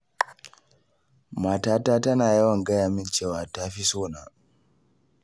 Matata tana yawan gaya min cewa ta fi so na